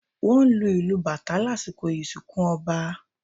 Wọ́n lu ìlù Batá lasikọ ìsinkú ọba